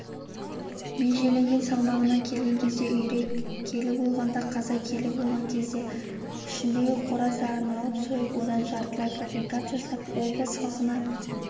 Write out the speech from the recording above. межеленген салмағына келген кезде үйрек келі болғанда қаз келі болған кезде ішіндегі қораздарын алып сойып одан жартылай фабрикат жасап облыс халқына